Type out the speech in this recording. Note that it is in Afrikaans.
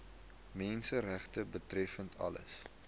menseregte betreffende alle